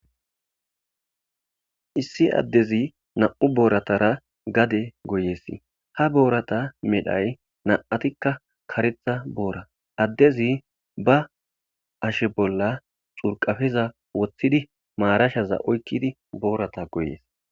issi addezi nam7u booratara gade goyees ha boorata medhay na7atikka karetha boora addezi ba ashe bolla xurqafiza woththidi maarashaza oykkidi boorata goyees